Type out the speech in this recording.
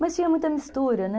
Mas tinha muita mistura, né?